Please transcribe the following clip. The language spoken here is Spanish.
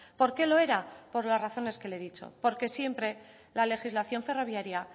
por qué lo era por las razones que le he dicho porque siempre la legislación ferroviaria